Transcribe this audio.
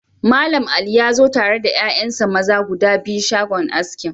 Mallam Ali ya zo tare da 'ya'yansa maza guda biyu shagon aski.